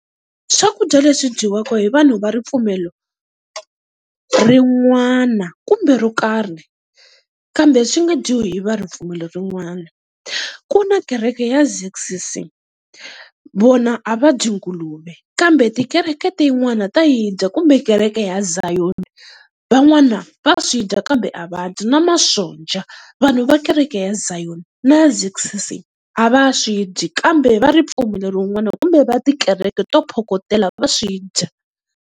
Swakudya leswi dyiwaka hi vanhu va ripfumelo rin'wana kumbe ro karhi, kambe swi nga dyiwi hi va ripfumelo rin'wana. Ku na kereke ya Z_C_C vona a va dyi nguluve, kambe tikereke tin'wana ta yi dya kumbe kereke ya Zion van'wana va swi dya kambe a va dyi na masonja, vanhu va kereke ya Zion na ya Z_C_C a va swi dyi. Kambe va ripfumelo rin'wani kumbe va tikereke to phokotela va swi dya.